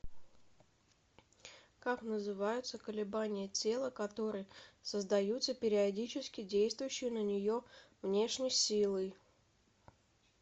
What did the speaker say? как называются колебания тела которые создаются периодически действующей на нее внешней силой